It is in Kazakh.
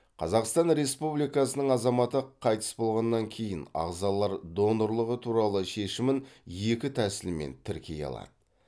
қазақстан республикасының азаматы қайтыс болғаннан кейін ағзалар донорлығы туралы шешімін екі тәсілмен тіркей алады